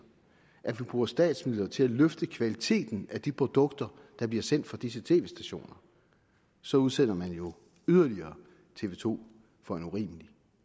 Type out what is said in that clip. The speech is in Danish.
at vi bruger statsmidler til at løfte kvaliteten af de produkter der bliver sendt fra disse tv stationer så udsætter man jo yderligere tv to for en urimelig